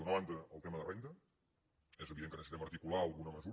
d’una banda el tema de renda és evident que necessitem articular alguna mesura